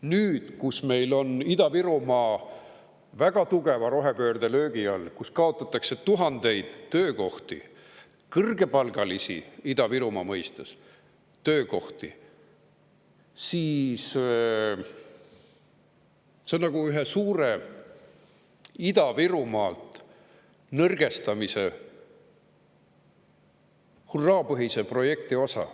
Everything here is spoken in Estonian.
Nüüd, kui meil on Ida-Virumaa väga tugeva rohepöördelöögi all, kui kaotatakse tuhandeid töökohti, Ida-Virumaa mõistes kõrgepalgalisi töökohti, siis on see nagu ühe suure Ida-Virumaa nõrgestamise hurraapõhise projekti osa.